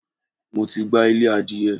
Mo ti gbá ilé adìyẹ.